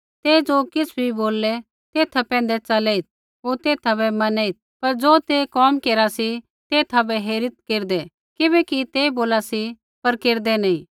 ते ज़ो किछ़ भी बोललै तेथा पैंधै च़लेइत् होर तेथा बै मनेइत् पर ज़ो ते कोम केरा सी तेथा बै हेरीत् केरदै किबैकि ते बोला सी पर केरदै नी